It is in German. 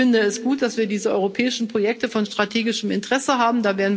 Ich finde es gut, dass wir diese europäischen Projekte von strategischem Interesse haben.